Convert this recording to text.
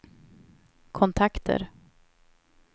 kontakter